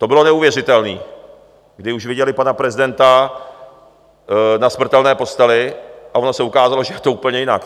To bylo neuvěřitelné, kdy už viděli pana prezidenta na smrtelné posteli, a ono se ukázalo, že to je úplně jinak.